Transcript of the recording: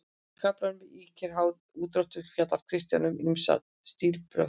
Í kaflanum Ýkjur, háð, úrdráttur fjallar Kristján um ýmis stílbrögð.